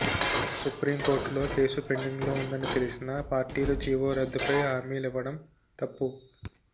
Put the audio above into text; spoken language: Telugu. సుప్రీంకోర్టులో కేసు పెండింగ్లో ఉందని తెలిసినా పార్టీలు జీవో రద్దుపై హామీలివ్వడం తప్పు